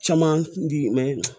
Caman di